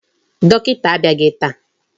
Dọkịta abịaghị taa.